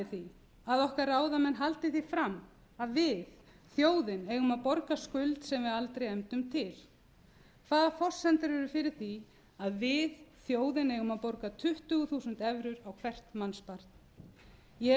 því að okkar ráðamenn haldi því fram að við þjóðin eigum að borga skuld sem við aldrei efndum til hvaða forsendur eru fyrir því að við þjóðin eigum að borga tuttugu þúsund evrur á hvert mannsbarn ég hef